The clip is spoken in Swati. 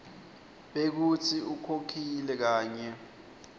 bekutsi ukhokhile kanye